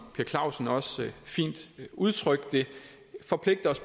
per clausen også fint udtrykte det forpligter os